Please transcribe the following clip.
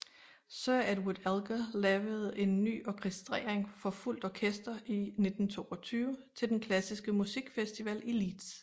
Sir Edward Elgar lavede en ny orkestrering for fuldt orkester i 1922 til den klassiske musikfestival i Leeds